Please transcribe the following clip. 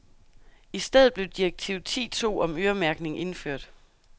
I stedet blev direktiv ti to om øremærkning indført.